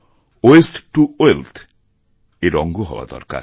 waste to wealth ও এর অঙ্গ হওয়া দরকার